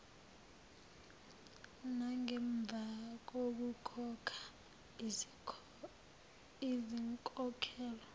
nangemva kokukhokha izinkokhelo